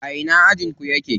A ina ajin ku yake?